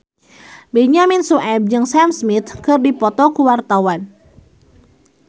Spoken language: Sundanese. Benyamin Sueb jeung Sam Smith keur dipoto ku wartawan